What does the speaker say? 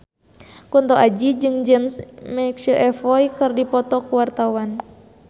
Kunto Aji jeung James McAvoy keur dipoto ku wartawan